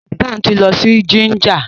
Hassan tí lọ si Jinja.